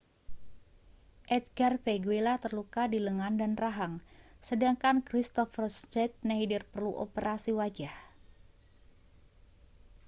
edgar veguilla terluka di lengan dan rahang sedangkan kristoffer schneider perlu operasi wajah